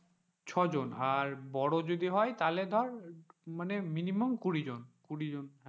ছয় জন আর বড় যদি হয় তাহলে ধর মানে minimum কুড়ি জন কুড়ি জন,